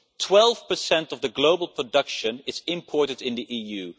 Twelve percent of the global production is imported into the EU.